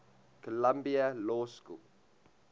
columbia law school